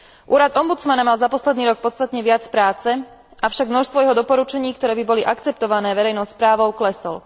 Úrad ombudsmana mal za posledný rok podstatne viac práce, avšak množstvo jeho doporučení, ktoré by boli akceptované verejnou správou, klesol.